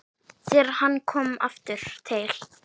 Þegar hann kom aftur til